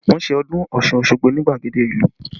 Wọn ṣe ọdún Ọ̀ṣun Osogbo ni gbagede ìlú